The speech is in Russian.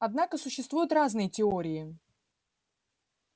однако существуют разные теории